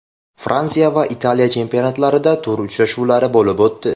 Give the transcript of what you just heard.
Fransiya va Italiya chempionatlarida tur uchrashuvlari bo‘lib o‘tdi.